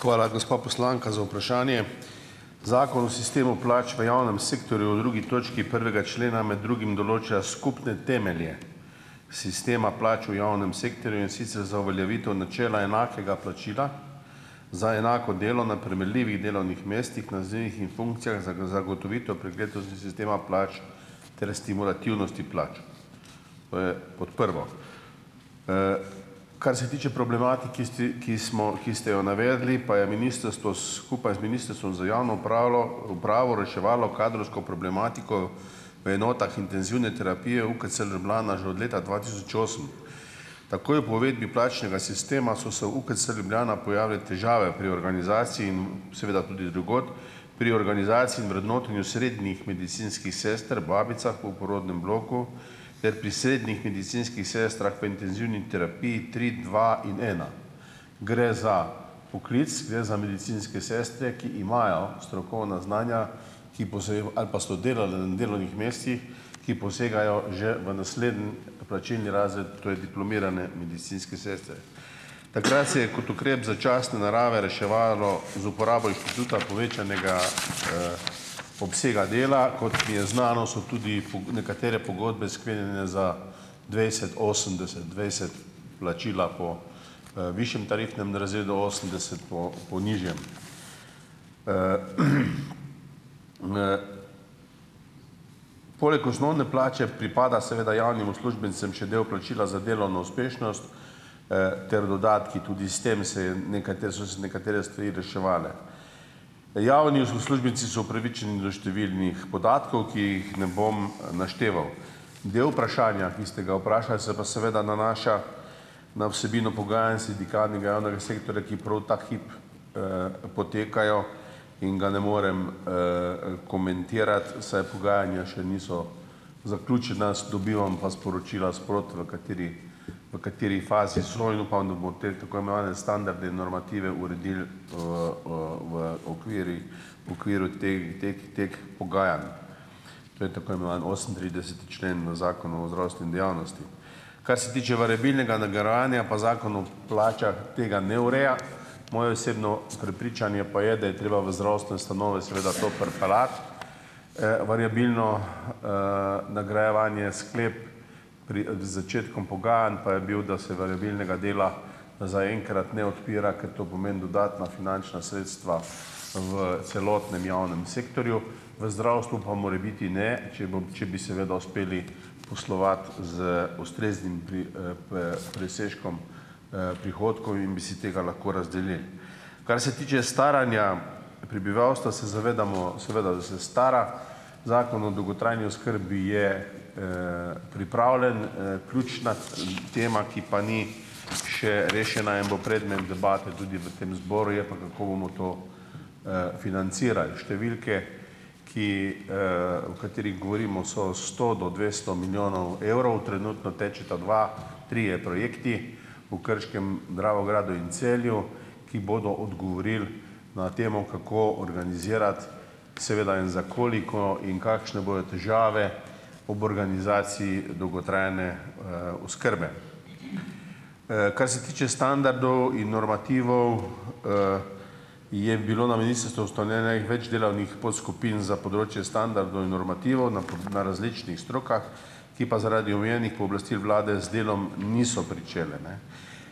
Hvala, gospa poslanka, za vprašanje. Zakon o sistemu plač v javnem sektorju v drugi točki prvega člena med drugim določa skupne temelje sistema plač v javnem sektorju, in sicer za uveljavitev načela enakega plačila za enako delo na primerljivih delovnih mestih, nazivih in funkcijah, zagotovitev preglednosti sistema plač ter stimulativnosti plač; to je kot prvo. Kar se tiče problematiki ste, ki smo ki ste jo navedli, pa je ministrstvo skupaj z Ministrstvom za javno upralo upravo reševalo kadrovsko problematiko v enotah intenzivne terapije UKC Ljubljana že od leta dva tisoč osem. Takoj po uvedbi plačnega sistema so se v UKC Ljubljana pojavile težave pri organizaciji in seveda tudi drugod, pri organizaciji in vrednotenju srednjih medicinskih sester, babicah v porodnem bloku ter pri srednjih medicinskih sestrah v intenzivni terapiji tri, dva in ena. Gre za poklic, gre za medicinske sestre, ki imajo strokovna znanja ali pa so delale na delovnih mestih, ki posegajo že v naslednji plačilni razred, to je diplomirane medicinske sestre. Takrat se je kot ukrep začasne narave reševalo z uporabo inštituta povečanega obsega dela. Kot mi je znano, so tudi nekatere pogodbe sklenjene za dvajset, osemdeset, dvajset plačila po višjem tarifnem razredu, osemdeset po po nižjem. Poleg osnovne plače pripada seveda javnim uslužbencem še del plačila za delovno uspešnost ter dodatki, tudi s tem se je so se nekatere stvari reševale. Javni uslužbenci so upravičeni do številnih podatkov, ki jih ne bom našteval. Del vprašanja, ki ste ga vprašal, se pa seveda nanaša na vsebino pogajanj s sindikati javnega sektorja, ki prav ta hip potekajo in ga ne morem komentirati, saj pogajanja še niso zaključena, dobivam pa sporočila sproti, v kateri v kateri fazi so. In upam, da bo te tako imenovane standarde in normative uredil v v okvirih v okviru te teh teh pogajanj, to je tako imenovani osemintrideseti člen Zakona o zdravstveni dejavnosti. Kar se tiče variabilnega nagrajevanja, pa Zakon o plačah tega ne ureja. Moje osebno prepričanje pa je, da je treba v zdravstvene ustanove seveda to pripeljati, variabilno nagrajevanje. Sklep pred začetkom pogajanj pa je bil, da se variabilnega dela zaenkrat ne odpira, ker to pomeni dodatna finančna sredstva v celotnem javnem sektorju, v zdravstvu pa morebiti ne, če bom če bi seveda uspeli poslovati z ustreznim presežkom prihodkov in bi si tega lahko razdelili. Kar se tiče staranja prebivalstva, se zavedamo, seveda, da se stara. Zakon o dolgotrajni oskrbi je pripravljen, ključna tema, ki pa ni še rešena in bo predmet debate tudi v tem zboru, je pa, kako bomo to financirali. Številke, ki o katerih govorimo, so sto do dvesto milijonov evrov. Trenutno tečeta dva, trije projekti, v Krškem, Dravogradu in Celju, ki bodo odgovorili na temo, kako organizirati seveda in za koliko in kakšne bojo težave ob organizaciji dolgotrajne oskrbe. Kar se tiče standardov in normativov, je bilo na ministrstvu ustanovljenih več delavnih podskupin za področje standardov in normativov na na različnih strokah, ki pa zaradi omenjenih pooblastil Vlade z delom niso pričele, ne.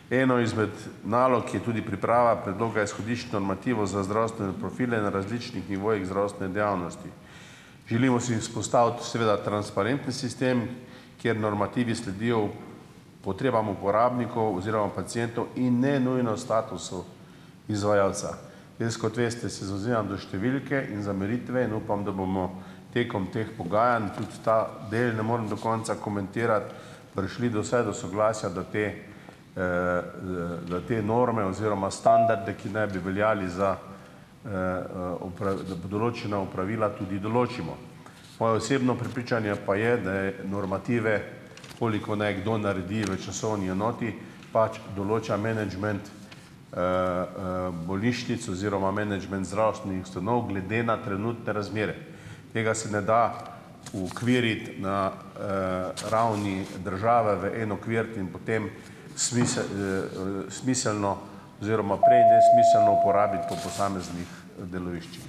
Eno izmed nalog, ki je tudi priprava predloga izhodišč normativov za zdravstvene profile na različnih nivojih zdravstvene dejavnosti. Želimo si vzpostaviti seveda transparenten sistem, kjer normativi sledijo potrebam uporabnikov oziroma pacientov in ne nujno statusu izvajalca. Jaz, kot veste, se zavzemam za številke in za meritve in upam, da bomo tekom teh pogajanj, tudi ta del ne morem do konca komentirati, prišli do vsaj do soglasja, da te da te norme oziroma standarde, ki naj bi veljali za določena opravila, tudi določimo. Moje osebno prepričanje pa je, da je normative koliko naj kdo naredi v časovni enoti, pač, določa menedžment bolnišnic oziroma menedžment zdravstvenih ustanov glede na trenutne razmere. Tega se ne da uokviriti na ravni države v en okvir in potem smiselno oziroma prej nesmiselno uporabiti po posameznih deloviščih.